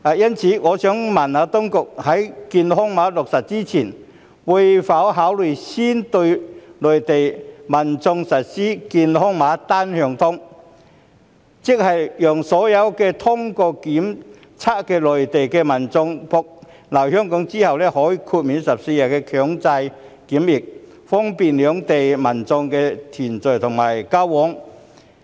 因此，我想問：當局在健康碼落實前，會否考慮先對內地民眾實施"健康碼單向通"，讓所有通過檢測的內地民眾來港後可獲豁免14天強制檢疫，以方便兩地民眾的團聚及交往。